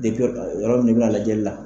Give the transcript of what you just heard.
Depi yɔrɔ ka lajɛli la.